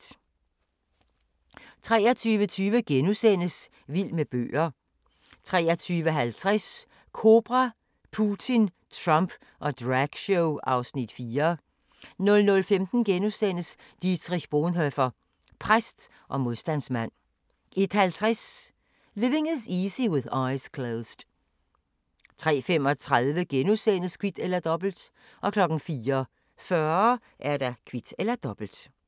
23:20: Vild med bøger * 23:50: Kobra – Putin, Trump og dragshow (Afs. 4) 00:15: Dietrich Bonhoeffer – præst og modstandsmand * 01:50: Living Is Easy with Eyes Closed 03:35: Kvit eller Dobbelt * 04:40: Kvit eller Dobbelt